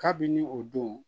Kabini o don